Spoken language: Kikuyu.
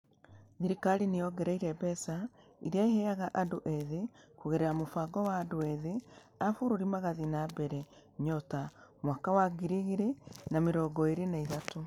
Thirikari nĩ yongereire mbeca iria ĩheaga andũ ethĩ kũgerera mũbango wa Andũ Ethĩ a Bũrũri Magĩthiĩ na Mbere (NYOTA) mwaka wa ngiri igĩrĩ na mĩrongo ĩĩrĩ na ithatũ.